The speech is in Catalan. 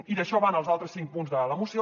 i d’això van els altres cinc punts de la moció